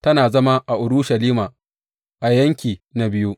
Tana zama a Urushalima, a Yanki na Biyu.